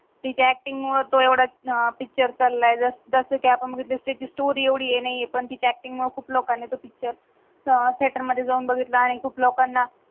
तिच्या अक्टिंग महत्व येवड पिक्चर चलाय जस जस कि आपण बघितले त्याची स्टोरी एवढी हे नाहीय पण तिझ्या अक्टिंग पण खूप लोकंना थियेटर मधे जाऊन बगीतला आनि खूप लोकंना